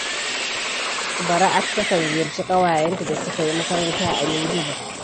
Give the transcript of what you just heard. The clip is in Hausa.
Bara'atu takan ziyarci ƙawayenta da suka yi makaranta a Minjibir